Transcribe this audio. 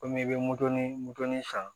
Komi i bɛ moddɛli modani san